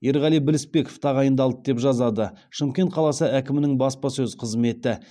ерғали білісбеков тағайындалды деп жазады шымкент қаласы әкімінің баспасөз қызметі